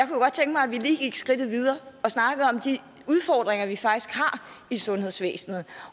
godt tænke mig at vi lige gik skridtet videre og snakkede om de udfordringer vi faktisk har i sundhedsvæsenet